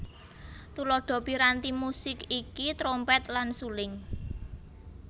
Tuladha piranti musik iki trompet lan suling